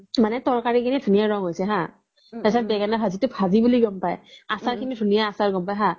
মানে তৰকাৰি খিনি বহুত ধুনিয়া ৰানং হৈছি হা তাৰ পিছ্ত বেগেনা ভাজি তো ভাজি বুলি গ্'ম পাই আচাৰ খিনি বহুত ধুনিয়া আচাৰ হা